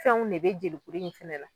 Fɛnw de be jelikuru in fɛnɛ la.